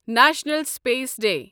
national space day